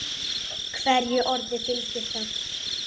Hverju orði fylgir þögn.